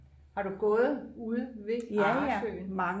har du gået ude ved Arresø?